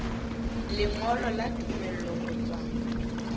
lengolo la tumello ho tswa